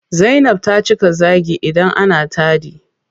Zainab ta cika zaagi idan ana taɗi.